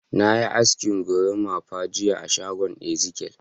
Na yi asken gorimapa jiya a shagon Ezekiyel.